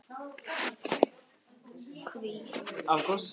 tveimur bréfa hans er fjallað um heitar uppsprettur.